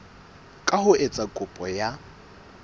ka ho etsa kopo ya